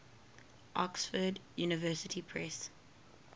oxford university press